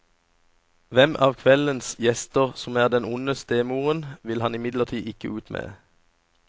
Hvem av kveldens gjester som er den onde stemoren, vil han imidlertid ikke ut med.